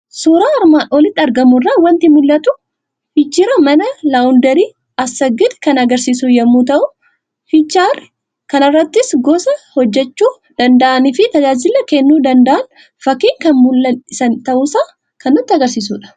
Suuraa armaan olitti argamu irraa waanti mul'atu; fiicharii mana laawundarii Asaaggid kan agarsiisu yommuu ta'u, fiicharii kanarrattis gosa hojjechuu danda'anifi tajaajila kennuu danda'an fakkiin kan mul'san ta'uusaa kan nutti agarsiisudha.